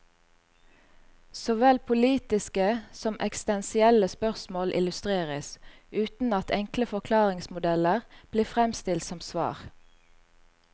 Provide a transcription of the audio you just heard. Såvel politiske som eksistensielle spørsmål illustreres, uten at enkle forklaringsmodeller blir fremstilt som svar.